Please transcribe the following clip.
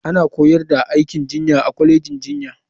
Ana koyar da aikin jinya a kwalejin jinya.